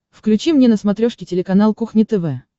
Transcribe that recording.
включи мне на смотрешке телеканал кухня тв